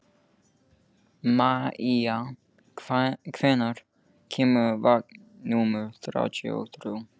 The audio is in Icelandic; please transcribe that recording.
Maia, hvenær kemur vagn númer þrjátíu og þrjú?